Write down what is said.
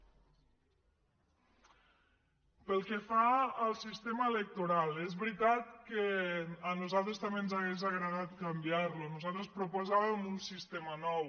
pel que fa al sistema electoral és veritat que a nos·altres també ens hauria agradat canviar·lo nosaltres proposàvem un sistema nou